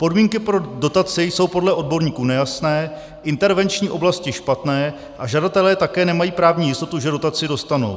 Podmínky pro dotace jsou podle odborníků nejasné, intervenční oblasti špatné a žadatelé také nemají právní jistotu, že dotaci dostanou.